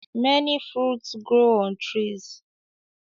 Many fruits grow on trees